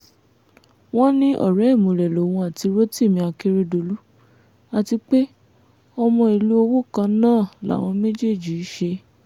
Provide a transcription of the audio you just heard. wọ́n ní ọ̀rẹ́ ìmùlẹ̀ lòun àti rotimi akeredolu àti pé ọmọ ìlú owó kan náà làwọn méjèèjì í ṣe